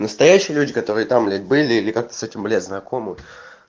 настоящие люди которые там блять были или как-то с этим блять знакомы